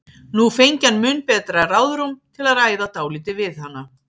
Nú fengi hann mun betra ráðrúm til að ræða dálítið við hana.